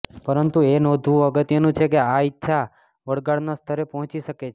પરંતુ એ નોંધવું અગત્યનું છે કે આ ઇચ્છા વળગાડના સ્તરે પહોંચી શકે છે